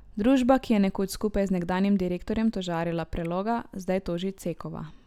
Družba, ki je nekoč skupaj z nekdanjim direktorjem tožarila Preloga, zdaj toži Cekova.